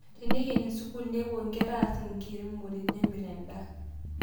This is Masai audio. Teneikeni sukul nepuo nkera ass enkiremore nemirr endaa